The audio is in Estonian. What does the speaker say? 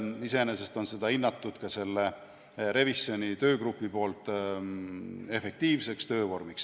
Iseenesest on ka revisjoni töögrupp hinnanud seda efektiivseks töövormiks.